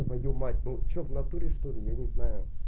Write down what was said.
твою мать ну что в натуре что-ли я не знаю